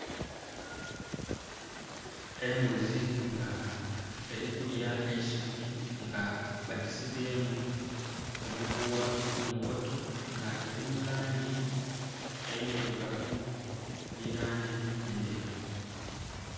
Embuzi nga erikulya eisubi nga bagisibyemu omuguwa munkoto nga eri mulanji endhirugavu nhi lanji endheru.